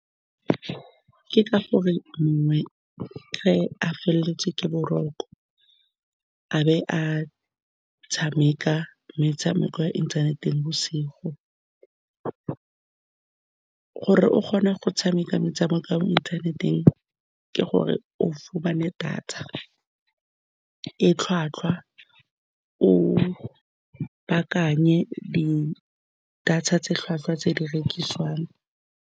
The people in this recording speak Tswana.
Ke ka gore mongwe a feletswe ke boroko, a be a tshameka metshameko ya inthaneteng bosigo. Gore o kgone go tshameka metshameko ya mo inthaneteng, ke gore o fumane data e tlhwatlhwa, o baakanye di-data tse di tlhwatlhwa tse di rekisiwang.